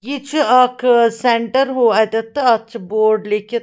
.یہِ چُھ اکھ ا سینٹرواَتٮ۪تھ تہٕ اَتھ چھ بورڈ لیٚکھِتھ